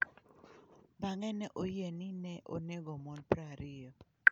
Bang'e ne oyie ni ne onego mon 20.